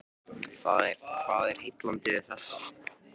Hvað er heillandi við þetta?